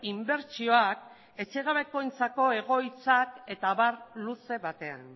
inbertsioak etxe gabekoentzako egoitzak eta abar luze batean